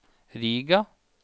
Riga